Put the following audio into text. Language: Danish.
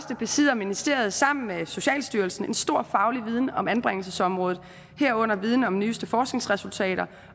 besidder ministeriet sammen med socialstyrelsen en stor faglig viden om anbringelsesområdet herunder viden om de nyeste forskningsresultater